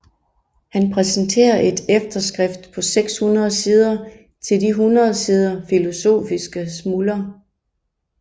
Han præsterer et efterskrift på 600 sider til de 100 sider Philosophiske Smuler